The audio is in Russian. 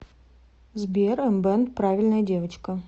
сбер эмбэнд правильная девочка